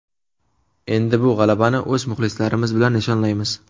Endi bu g‘alabani o‘z muxlislarimiz bilan nishonlaymiz.